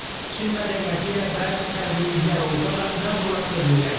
Çin mədəniyyəti ilə bəzi fərqliliklər olsa da, mən bura tez öyrəşdim.